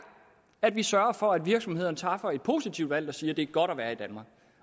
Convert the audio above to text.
at vi sørger for at virksomhederne træffer et positivt valg og siger at det er godt at være i danmark